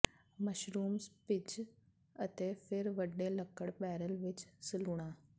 mushrooms ਭਿੱਜ ਅਤੇ ਫਿਰ ਵੱਡੇ ਲੱਕੜ ਬੈਰਲ ਵਿੱਚ ਸਲੂਣਾ